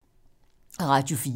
Radio 4